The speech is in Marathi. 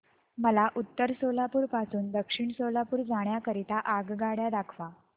मला उत्तर सोलापूर पासून दक्षिण सोलापूर जाण्या करीता आगगाड्या दाखवा